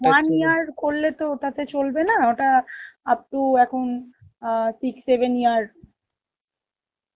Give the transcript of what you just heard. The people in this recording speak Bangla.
year করলে তো ওটাকে চলবে না ওটা upto এখন অ্যাঁ six seven years